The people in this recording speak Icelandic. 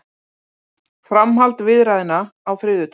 Framhald viðræðna á þriðjudag